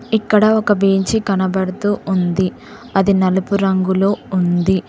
ఇక్కడ ఒక బేంచి కనబడుతూ ఉంది అది నలుపు రంగులో ఉంది.